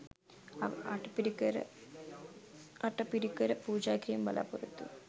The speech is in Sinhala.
අට පිරි කර පූජා කිරීමේ බලාපොරොත්තුව